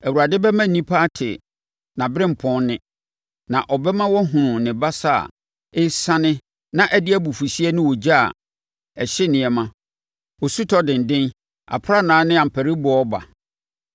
Awurade bɛma nnipa ate nʼaberempɔn nne, na ɔbɛma wɔahunu ne basa a ɛresiane na ɛde abufuhyeɛ ne ogya a ɛhye nneɛma, osutɔ denden, aprannaa ne ampariboɔ reba.